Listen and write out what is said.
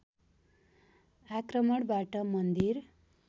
आक्रमणबाट मन्दिर